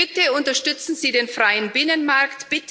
Bitte unterstützen Sie den freien Binnenmarkt.